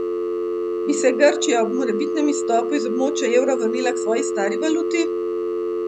Bi se Grčija ob morebitnem izstopu iz območja evra vrnila k svoji stari valuti?